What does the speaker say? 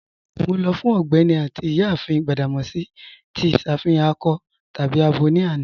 Mọ lọ fun Ọgbẹni àti Iyáàfin Gbadamosi tí iṣàfihàn akọ tàbí àbọ ni àná.